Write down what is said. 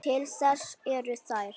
Til þess eru þær.